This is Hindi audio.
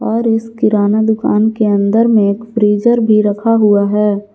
और इस किराना दुकान के अंदर में एक फ्रीजर भी रखा हुआ है।